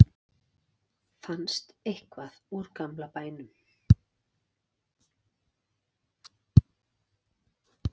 fannst eitthvað úr gamla bænum